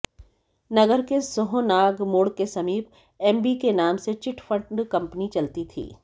नगर के सोहनाग मोड़ के समीप एमबीके नाम से चिटफंड कंपनी चलती थी